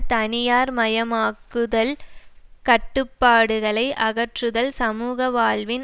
தனியார்மயமாக்குதல் கட்டுப்பாடுகளை அகற்றுதல் சமூக வாழ்வின்